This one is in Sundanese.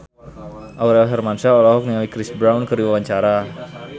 Aurel Hermansyah olohok ningali Chris Brown keur diwawancara